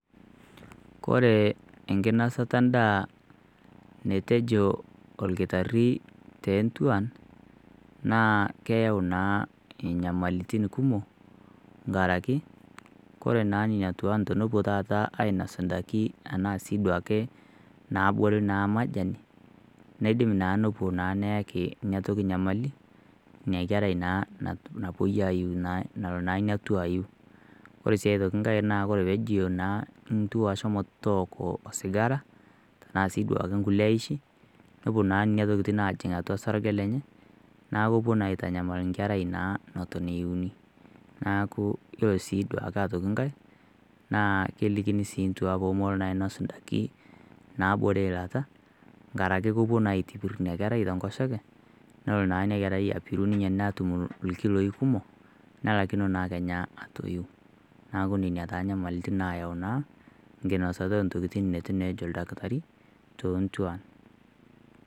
Kore enkinosata endaa netuejo orkitari toonduan naa keyau naa enyamalitin kumok inkaraki koree naa nena tuan tenepuo taata ainos indaiki ashua duake naabore naa majani neidim naaa nepuo naa neyani inatoki nyamali inakerai naa napuoi aaiu nalo ina tuaa aiu ore sii nkae naa ore peeji ore sii nkae peejo ntuan shomo tooki sigara naa ashua naishi nepuo na nena tokitin aajing atua sarge lenye neekepuo naa aitanyamal enkerai naa naton iiuni neeku ore sii duake nkae naa kelikini ndua poomolo naa ainos indaikin naabore ilata nkaraki kepuo aitopir ina kerai tenkoshoke neko naa ina kerai atum ilkiloi kumok nelakino naa Kenya atoiu neeku nena inyamalitin nayau teninyia intokitin neitu ejo orkitari toonduan.